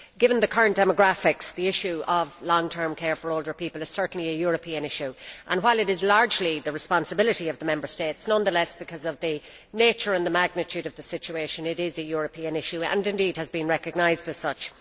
Given the current demographics, the issue of long term care for older people is certainly a European issue, and while it is largely the responsibility of the Member States, nonetheless, because of the nature and the magnitude of the situation, it is a European issue and has indeed been recognised as such.